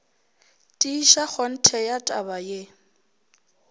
tiiša kgonthe ya taba ye